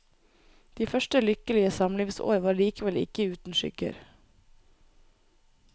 De første lykkelige samlivsår var likevel ikke uten skygger.